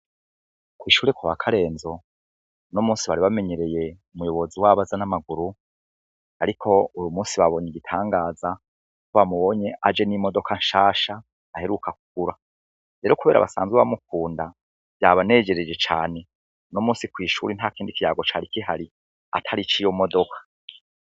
Kw'ishure ko bakarenzo no musi bari bamenyereye umuyobozi wabaza n'amaguru, ariko uru musi babonye igitangaza ko bamubonye aje n'imodoka nshasha aheruka kukura rero, kubera abasanzwe bamukunda yabanejereje cane no musi kw'ishura nta kindi kiyago cari ikihari atari iciyomu moduk.